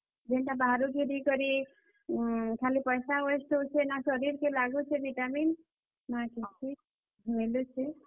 ଯେନ୍ ଟା ବାହାରୁ ଘିନିକରି ଉଁ, ଖାଲି ପଏସା waste ହେଉଛେ ନାଁ ଶରୀର କେ ଲାଗୁଛେ ଭିଟାମିନ୍, ନାଁ କିଛି, ମିଲୁଛେ।